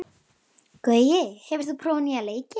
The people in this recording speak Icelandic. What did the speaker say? Gaui, hefur þú prófað nýja leikinn?